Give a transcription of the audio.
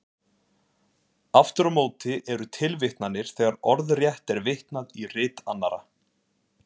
Aftur á móti eru tilvitnanir þegar orðrétt er vitnað í rit annarra.